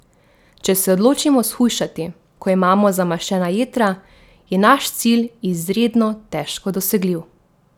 Če se odločimo shujšati, ko imamo zamaščena jetra, je naš cilj izredno težko dosegljiv.